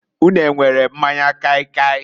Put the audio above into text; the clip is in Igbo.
Ụnu e nwere kai kai?